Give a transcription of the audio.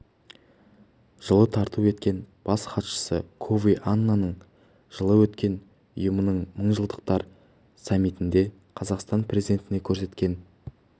жылы тарту еткен бас хатшысы кофи аннанның жылы өткен ұйымның мыңжылдықтар саммитінде қазақстан президентіне көрсеткен